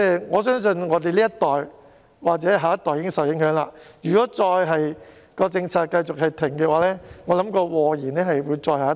我相信我們這一代或下一代已經受影響，如果政策繼續停頓，或會禍延再下一代。